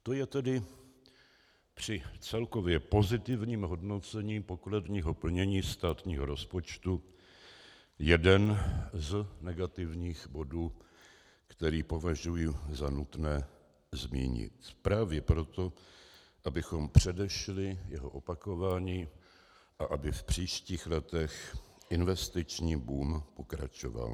To je tedy při celkově pozitivním hodnocení pokladního plnění státního rozpočtu jeden z negativních bodů, který považuji za nutné zmínit právě proto, abychom předešli jeho opakování a aby v příštích letech investiční boom pokračoval.